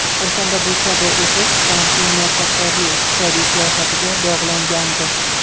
O‘shanda bu kabi o‘sish Trampning muvaffaqiyatli iqtisodiy siyosatiga bog‘langandi.